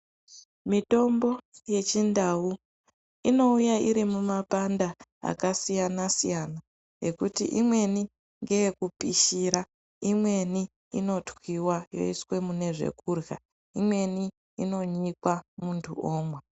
Mitombo yechindau inouya iri mumapanda akasiyanasiyana ekuti imweni ngeyekupishira imweni inotwiwa yoiswe mune zvekurya imweni inonyikwa muntu omwa .